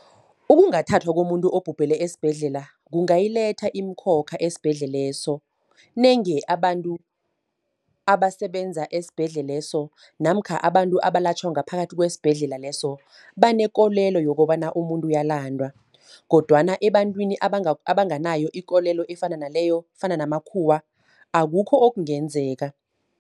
Ukungathathwa komuntu obhubhele esibhedlela, kungayiletha iimkhokha esibhedleleso. Nange abantu abasebenza esibhedleleso, namkha abantu abalatjhwa ngaphakathi kwesibhedlela leso, banekolelo yokobana umuntu uyalandwa. Kodwana ebantwini abanganayo ikolelo efana naleyo, fana namakhuwa akukho okungenzeka.